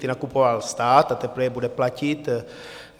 Ty nakupoval stát a teprve je bude platit.